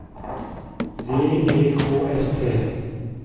V E K S T